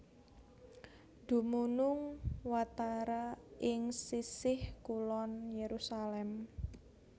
Dumunung watara ing sisih kulon Yerusalem